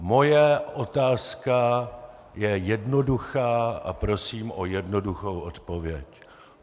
Moje otázka je jednoduchá a prosím o jednoduchou odpověď.